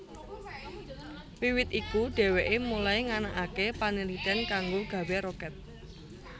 Wiwit iku dheweke mulai nganakake panaliten kanggo gawé roket